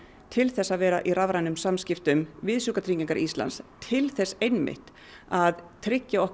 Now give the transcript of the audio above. til þess að vera í rafrænum samskiptum við Sjúkratryggingar Íslands til þess einmitt að tryggja okkar